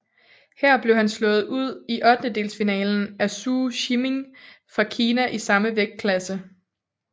Her blev han slået ud i ottendelsfinalen af Zou Shiming fra Kina i samme vægtklasse